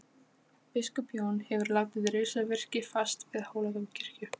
Biskup Jón hefur látið reisa virki fast við Hóladómkirkju.